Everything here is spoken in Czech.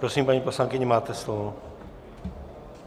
Prosím, paní poslankyně, máte slovo.